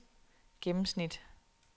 gennemsnit